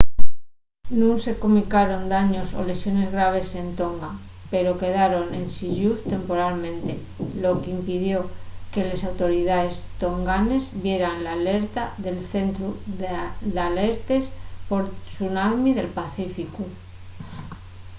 nun se comunicaron daños o lesiones graves en tonga pero quedaron ensin lluz temporalmente lo qu'impidió que les autoridaes tonganes vieran l'alerta del centru d'alertes por tsunami del pacíficu